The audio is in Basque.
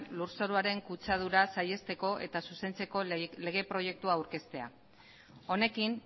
lurzoruaren kutsadura saihesteko eta zuzentzeko lege proiektua aurkeztea honekin